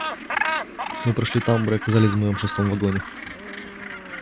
мы прошли тамбур и оказались в моем шестом вагоне